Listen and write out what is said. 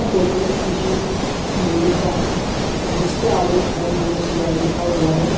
Photo किसी मंदिर का है जिसके आगे होम नमः शिवाय लिखा हुआ है।